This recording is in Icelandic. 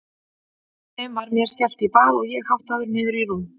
Hjá þeim var mér skellt í bað og ég háttaður niður í rúm.